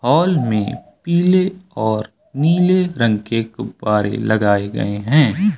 Hall में पीले और नीले रंग के गुब्बारे लगाए गए हैं।